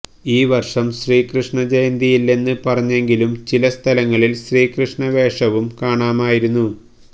ഈ വര്ഷം ശ്രീകൃഷ്ണ ജയന്തിയില്ലെന്ന് പറഞ്ഞെങ്കിലും ചിലസ്ഥലങ്ങളില് ശ്രീകൃഷ്ണ വേഷവും കാണാമായിരുന്നു